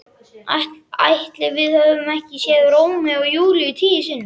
Ætli við höfum ekki séð Rómeó og Júlíu tíu sinnum?